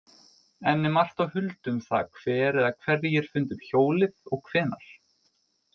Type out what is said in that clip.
Enn er margt á huldu um það hver eða hverjir fundu upp hjólið og hvenær.